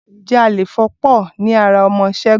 Ǹjẹ́ Àléfọ́ pọ̀ ní ara ọmọ Ṣẹ́gun